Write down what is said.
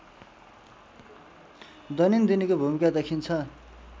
दैनन्दिनीको भूमिका देखिन्छ